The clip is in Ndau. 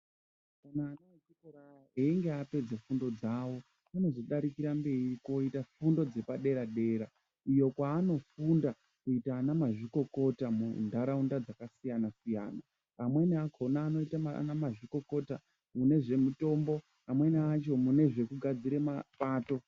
Einge apedze fundo dzawo anozodarikire mberi koita fundo dzepadera dera iyo kwanofunda kuita anamazvikokota muntaraunda dzakasiyana siyana amweni akona anoita anamazvikokota mune zvemitombo amweni acho mune zvekugadzire mapato.